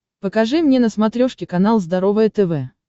покажи мне на смотрешке канал здоровое тв